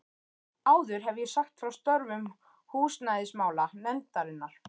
Áður hef ég sagt frá störfum húsnæðismála- nefndarinnar.